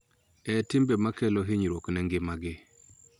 E timbe ma kelo hinyruok ne ngimagi, .